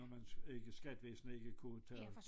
Når man ikke skattevæsenet ikke kunne tage